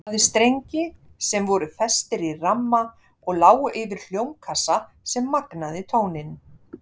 Það hafði strengi sem voru festir í ramma og lágu yfir hljómkassa sem magnaði tóninn.